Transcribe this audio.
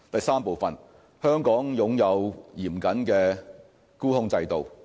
三香港擁有嚴謹的沽空制度。